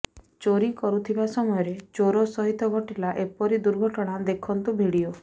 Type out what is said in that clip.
ଚୋରି କରୁଥିବା ସମୟରେ ଚୋର ସହିତ ଘଟିଲା ଏପରି ଦୁର୍ଘଟଣା ଦେଖନ୍ତୁ ଭିଡିଓ